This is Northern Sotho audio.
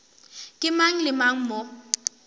ke mang le mang mo